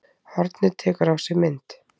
Hornið tekur á sig mynd